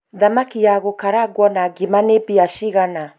thamaki ya gũkarangũo na ngima nĩ mbia cigana?